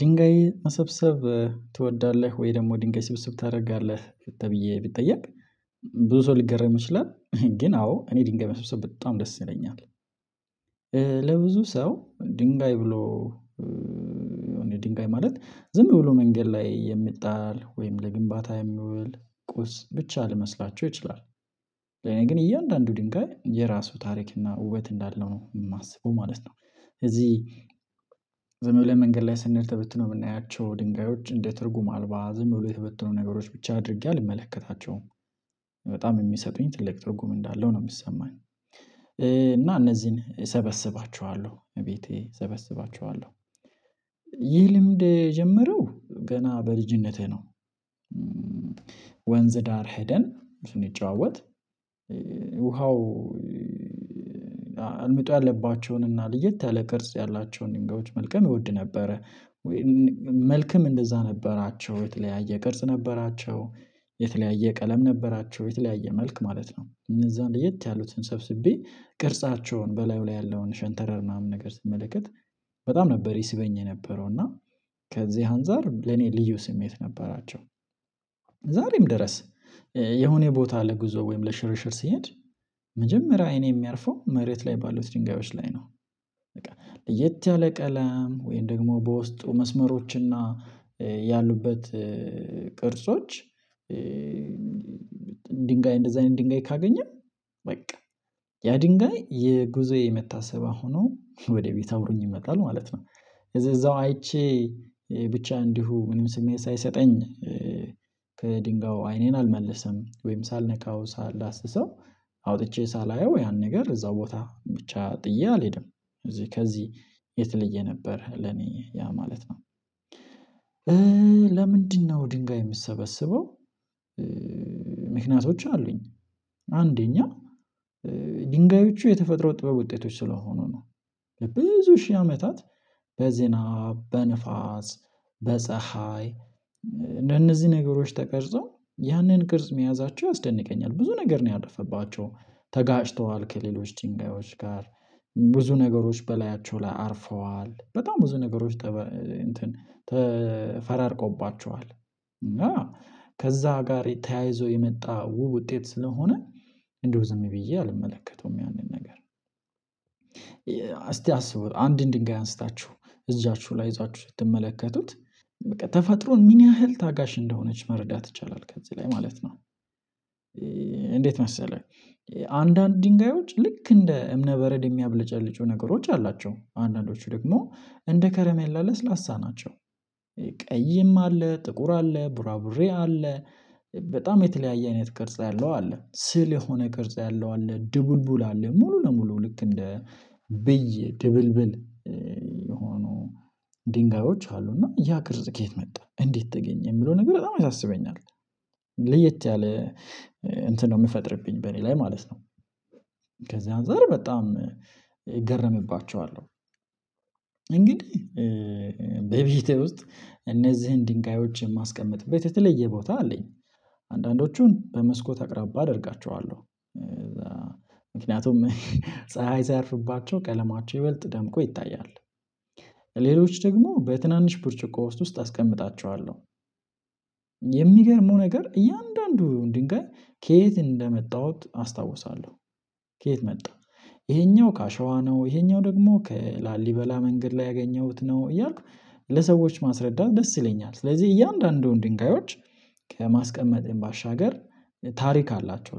ድንጋይ መሰብሰብ ትወዳለህ? ወይም ደግሞ ድንጋይ ስብሰብ ታደርጋለህ ተብዬ ብትጠየቅ ብዙ ሰው ሊገርም ይችላል ግን አዎ እኔ ድንጋይ መስብስብ በጣም ደስ ይለኛል። ሰው ድንጋይ ብሎ ድንጋይ ማለት ዝም ብሎ መንገድ ላይ የሚጣል ወይም ለግንባታ የሚወል ቁስ ብቻ ልመስላቸው ይችላል። ለኔ ግን እያንዳንዱ ድንጋይ የራሱ ታሪክ እና ውበት እንዳለው ነው የማስበው ማለት ነው። እዚህ ዘመይ ብሎ መንገድ ላይ ስንል ተበትኖ የምናያቸው ድንጋዮች እንደ ትርጉም አልባ ዝም ብሎ የተበትኖ ነገሮች ብቻ አድርጌ አልመለከታቸውም። በጣም የሚሰጡኝ ትልቅ ትርጉም እንዳለው ነው የሚሰማኝ። እና እነዚህን እሰበስባቸዋለሁ እቤቴ እሰበስባቸዋለሁ ይህ ልምድ ጀምረው ገና በልጅነትህ ነው? ወንዝ ዳር ሄደን ስንጫወት ውሃው አልምጠው ያለባቸውን እና ልየት ያለ ቅርጽ ያላቸውን ድንጋዮች መልቀም ይወድ ነበረ። መልክም እንደዛ ነበራቸው የተለያየ ቅርጽ ነበራቸው የተለያየ ቀለም ነበራቸው የተለያየ መልክ ማለት ነው እነዛ እንደየት ያሉትን ሰብስቤ ቅርጻቸውን በላዩ ላይ ያለውን ሸንተረር ምናምን ነገር ስመለከት በጣም ነበር ይስበኝ የነበረው እና ከዚህ አንፃር ለኔ ልዩ ስሜት ነበራቸው። ዛሬም ድረስ የሆነ ቦታ ለጉዞ ወይም ለሽርሽር ሲሄድ እኔ የሚያርፈው መሬት ላይ ባሉት ድንጋዮች ላይ ነው። በቃ ለየት ያለ ቀለም ወይም ደግሞ በውስጡ መስመሮችና ያሉበት ቅርጾች ድንጋይ እንደዛ አይነት ድንጋይ ካገኘ በቃ ያ ድንጋይ የጉዞዬ መታሰቢያ ሆኖ ወደ ቤት አውሩኝ ይመጣል ማለት ነው። እዛው አይቼ ብቻ እንዲሁ ምንም ስሜት ሳይሰጠኝ ከድንጋዩ አይኔን አልመለስም ወይም ሳልነካው ሳላስሰው አውጥቼ ሳላየው ያን ነገር እዛው ቦታ ብቻ ጥዬ አልሄድም ከዚህ ከዚህ የተለየ ነበር ለኔ ያ ማለት ነው። ለምንድነው ድንጋይ የምሰበስበው አሉኝ? አንደኛ ድንጋዮቹ የተፈጥሮ ጥበብ ውጤቶች ስለሆኑ ነው ብዙ ሺህ አመታት በዜና በንፋስ በፀሀይ እንደነዚህ ነገሮች ተቀርጾ ያንን ቅርጽ መያዛቸው ያስደንቀኛል ብዙ ነገር ነው ያለፈባቸው። ከሌሎች ጭንቃዎች ጋር ብዙ ነገሮች በላያቸው ላይ አርፈዋል በጣም ብዙ ነገሮች ተፈራርቆባቸዋል እና ከዛ ጋር ተያይዞ የመጣ ውብ ውጤት ስለሆነ እንደው ዝም ብዬ አልመለከተውም ያንን ነገር። አስቡት አንድ ድንጋይ አንስታችሁ እዛችሁ ላይ ይዛችሁ ስትመለከቱት በቃ ተፈጥሮን ምን ያህል ታጋሽ እንደሆነች መረዳት ይቻላል ከዚህ ላይ ማለት ነው። እንዴት መሰለህ? አንዳንድ ድንጋዮች ልክ እንደ እምነ በረድ የሚያብለጨልጩ ነገሮች አላቸው አንዳንዶቹ ደግሞ እንደ ከረሜላ ለስላሳ ናቸው። ቀይም አለ ጥቁር አለ ቡራቡሬ አለ በጣም የተለያየ አይነት ቅርጽ ያለው አለ ስል የሆነ ቅርጽ ያለው አለ ድብልቡል አለ ሙሉ ለሙሉ ልክ እንደ ብዬ ድብልብል የሆኑ ድንጋዮች አሉ እና ያ ግርዝ ከየት መጣ እንዴት ተገኘ የሚለው ነገር በጣም ያሳስበኛል። ለየት ያለ እንትን ነው የምፈጥርብኝ በእኔ ላይ ማለት ነው። ከዚያን ዘር በጣም ይገርምባቸዋለሁ እንግዲህ በቤቴ ውስጥ እነዚህን ድንጋዮችን ማስቀመጥ በተለየ ቦታ አለኝ። አንዳንዶቹን በመስኮት አቅራቢያ አደርጋቸዋለሁ ምክንያቱም ፀሀይ ሳያርፍባቸው ቀለማቸው ይበልጥ ደምቆ ይታያል። ሌሎች ደግሞ በትንንሽ ብርጭቆ ውስጥ አስቀምጣቸዋለሁ የሚገርመው ነገር እያንዳንዱ ድንጋይ ከየት እንደመጣሁት አስታውሳለሁ። ከየት መጣ ይሄኛው ከአሸዋ ነው ይሄኛው ደግሞ ከላሊበላ መንገድ ላይ ያገኘሁት ነው እያልኩ ለሰዎች ማስረዳት ደስ ይለኛል። ስለዚህ እያንዳንዱን ድንጋዮች ከማስቀመጤም ባሻገር ታሪክ አላቸው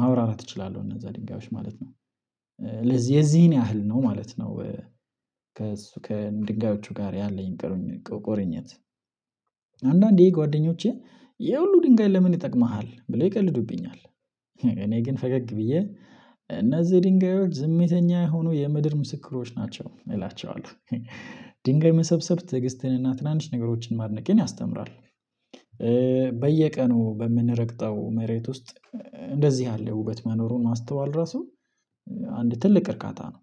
ማብራራት እችላለሁ እነዛ ድንጋዮች ማለት ነው። ለዚህ የዚህን ያህል ነው ማለት ነው። ከእሱ ከድንጋዮቹ ጋር ያለኝ ቆሮኝ ቆሮኝነት አንዳንዴ ጓደኞቼ እህ ሁሉ ድንጋይ ለምን ይጠቅምሃል ብለው ይቀልዱብኛል። እኔ ግን ፈገግ ብዬ እነዚህ ድንጋዮች ዝምተኛ የሆኑ የምድር ምስክሮች ናቸው እላቸዋለሁ። ድንጋይ መሰብሰብ ትዕግስትን እና ትናንሽ ነገሮችን ማድነቅ ያስተምራል። በየቀኑ በምንረግጠው መሬት ውስጥ እንደዚህ አለ ውበት መኖሩን ማስተዋል ራሱ አንድ ትልቅ እርካታ ነው።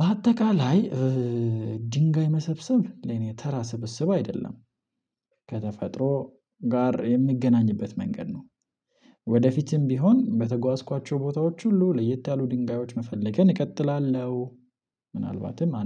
በአጠቃላይ ድንጋይ መሰብሰብ ለኔ ተራ ስብስብ አይደለም። ከተፈጥሮ ጋር የምገናኝበት መንገድ ነው። ወደፊትም ቢሆን በተጓዝኳቸው ቦታዎች ሁሉ ለየት ያሉ ድንጋዮች መፈለግን እቀጥላለሁ። ምናልባትም